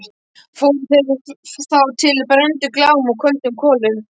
Fóru þeir þá til og brenndu Glám að köldum kolum.